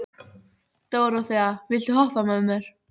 Dóróþea, viltu hoppa með mér?